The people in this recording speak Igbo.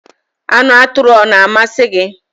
Anu aturu o na-amasi gi?